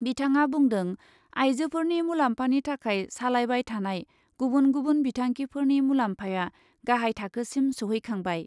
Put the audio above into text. बिथाङा बुंदों , आइजोफोरनि मुलाम्फानि थाखाय सालायबाय थानाय गुबुन गुबुन बिथांखिफोरनि मुलाम्फाया गाहाय थाखोसिम सौहैखांबाय।